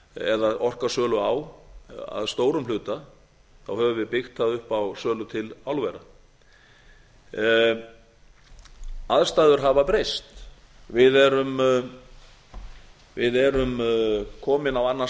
eða orkusölu á að stórum hluta höfum við byggt það upp á sölu til álvera aðstæður hafa breyst við erum komin á annan